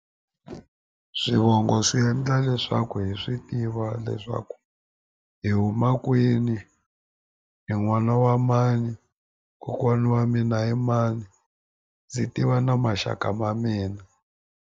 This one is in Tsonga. Swivongo swi endla leswaku hi swi tiva leswaku hi huma kwini ni n'wana wa mani kokwana wa mina i mani ndzi tiva na maxaka ma mina.